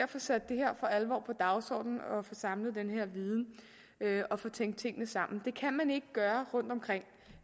for alvor at på dagsordenen få samlet den her viden og få tænkt tingene sammen det kan man ikke gøre rundtomkring